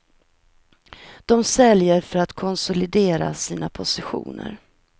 De säljer för att konsolidera sina positioner.